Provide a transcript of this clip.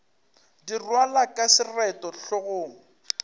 di rwalwa ka seroto hlogong